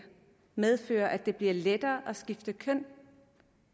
medfører at det bliver lettere at skifte køn